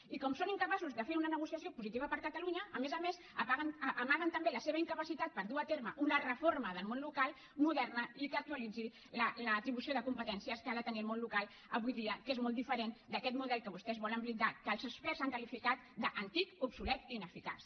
i com són incapaços de fer una negociació positiva per a catalunya a més a més amaguen també la seva incapacitat per dur a terme una reforma del món local moderna i que actualitzi l’atribució de competències que ha de tenir el món local avui dia que és molt diferent d’aquest model que vostès volen blindar que els experts han qualificat d’antic obsolet i ineficaç